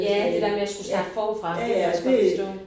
Ja det der med at skulle starte forfra det kan jeg også godt forstå